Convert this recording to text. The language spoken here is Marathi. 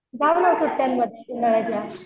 जाऊ ना सुट्ट्यांमध्ये उन्हाळ्याच्या